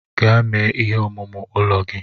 Gaa mee ihe omume ụlọ gị!